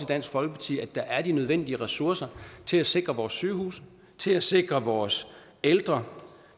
dansk folkeparti at der er de nødvendige ressourcer til at sikre vores sygehuse til at sikre vores ældre